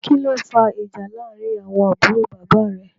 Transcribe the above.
Kìlọ fà ìjà làrin àwọn àbúrò bàbá rè?